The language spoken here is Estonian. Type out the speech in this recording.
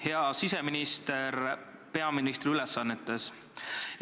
Hea siseminister peaministri ülesannetes!